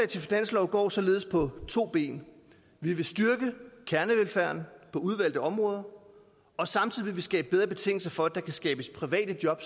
til finanslov går således på to ben vi vil styrke kernevelfærden på udvalgte områder og samtidig vil vi skabe bedre betingelser for at der kan skabes private job